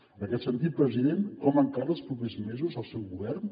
en aquest sentit president com encara els propers mesos el seu govern